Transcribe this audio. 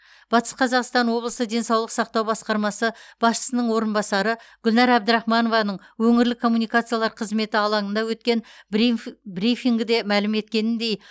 батыс қазақстан облысы денсаулық сақтау басқармасы басшысының орынбасары гүлнәр әбдірахманованың өңірлік коммуникациялар қызметі алаңында өткен брифингде мәлім еткеніндей